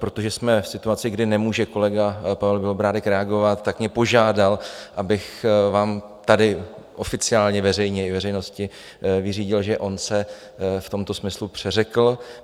Protože jsme v situaci, kdy nemůže kolega Pavel Bělobrádek reagovat, tak mě požádal, abych vám tady oficiálně veřejně, i veřejnosti, vyřídil, že on se v tomto smyslu přeřekl.